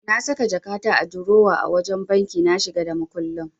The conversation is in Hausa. Na saka jakata a durowa a wajen banki na shiga da makullin.